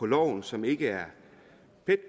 loven som ikke er